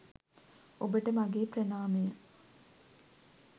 ඔබට මගේ ප්‍රණාමය